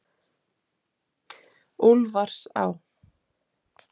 Úlfarsá